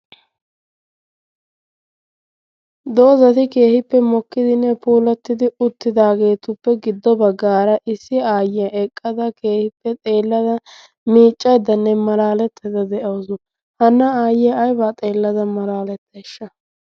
doozati keehippe mokkidinne puolattidi uttidaageetuppe giddo baggaara issi aayyiya eqqada keehippe xeellada miiccaiddanne malaalettada de7ausu hana aayye aibaa xeellada malaaletteeshsha